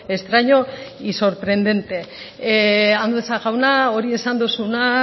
extraño y sorprendente andueza jauna hori esan duzuna